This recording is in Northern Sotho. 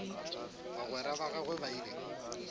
bagwera ba gagwe ba ile